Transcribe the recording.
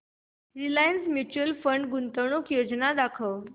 Reliance mutual fund गुंतवणूक योजना दाखव